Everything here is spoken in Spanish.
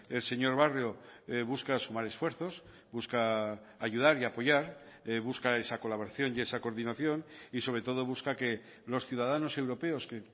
el señor barrio busca sumar esfuerzos busca ayudar y apoyar busca esa colaboración y esa coordinación y sobre todo busca que los ciudadanos europeos que